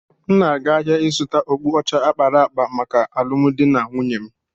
M na-aga ahịa ịzụta okpu ọcha a kpara akpa maka alụmdi na nwunye m.